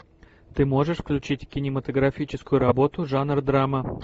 ты можешь включить кинематографическую работу жанр драма